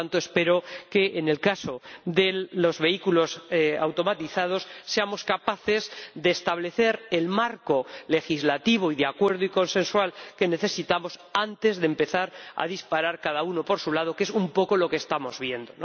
Por lo tanto, espero que en el caso de los vehículos automatizados seamos capaces de establecer el marco legislativo y de acuerdo y consensual que necesitamos antes de empezar a disparar cada uno por su lado, que es un poco lo que estamos viendo.